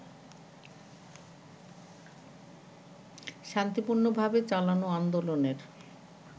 শান্তিপূর্ণভাবে চালানো আন্দোলনের